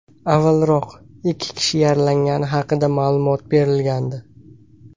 Avvalroq, ikki kishi yaralangani haqida ma’lumot berilgandi.